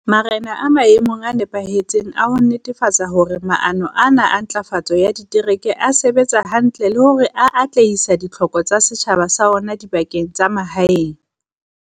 Marena a maemong a nepahetseng a ho netefatsa hore maano ana a ntlafatso ya ditereke a sebetsa hantle le hore a atlehisa ditlhoko tsa setjhaba sa ona dibakeng tsa mahaeng.